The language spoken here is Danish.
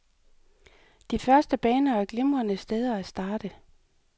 De første baner er glimrende steder at starte.